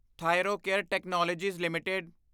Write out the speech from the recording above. Thyrocare technologies LTD